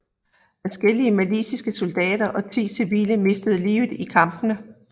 Adskillige maliske soldater og 10 civile mistede livet i kampene